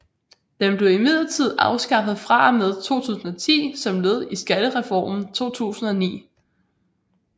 Den blev imidlertid afskaffet fra og med 2010 som led i skattereformen 2009